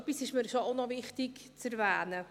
Etwas ist mir schon auch noch wichtig zu erwähnen: